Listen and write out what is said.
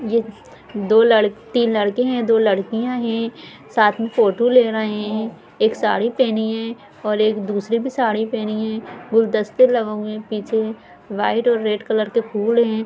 यह दो लड़-- तीन लड़के है दो लड़किया है साथ मे फोटो ले रहे है एक साड़ी पहनी है और एक दूसरी भी साड़ी पहनी है गुलदस्ते लगे हुए है पीछे व्हाइट और रेड कलर के फूल है।